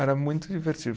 Era muito divertido.